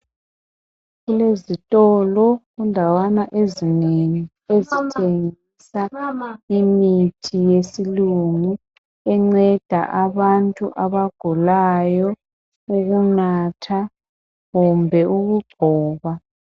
Kulezitolo indawana ezinengi ezithengisa imithi yesilungu enceda abantu abagulayo ukunatha kumbe ukugcoba.